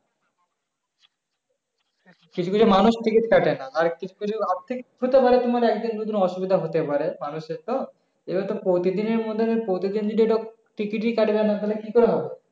কিছু কিছু মানুষ ticket কাটে না আর কিছু কিছু হতে পারে তোমার একদিন দু দিন অসুবিধা হতে পারে মানুষের তো আবার তো প্রতিদিন এর মতো প্রতিদিন যদি এটা ticket এ কাটবে না তাহলে কি করে হবে